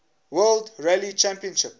world rally championship